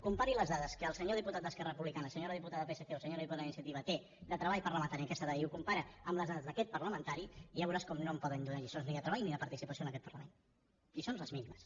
compari les dades que el senyor diputat d’esquerra republicana la senyora diputada del psc o la senyora diputada d’iniciativa té de treball parlamentari en aquesta dada i ho compara amb les dades d’aquest parlamentari i ja veuràs com no em poden donar lliçons ni de treball ni de participació en aquest parlament lliçons les mínimes